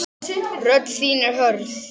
Rödd þín er hörð.